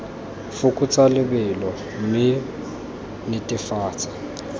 fokotsa lebelo mme o netefatse